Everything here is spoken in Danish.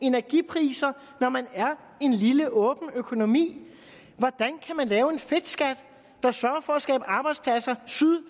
energipriser når man er en lille åben økonomi hvordan kan man lave en fedtskat der sørger for at skabe arbejdspladser syd